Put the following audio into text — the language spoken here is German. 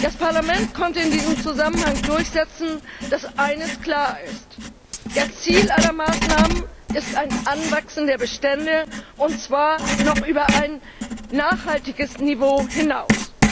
Das Parlament konnte in diesem Zusammenhang durchsetzen, dass eines klar ist Das Ziel aller Maßnahmen ist ein Anwachsen der Bestände, und zwar noch über ein nachhaltiges Niveau hinaus.